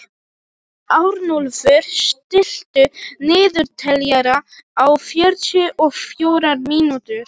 Arnúlfur, stilltu niðurteljara á fjörutíu og fjórar mínútur.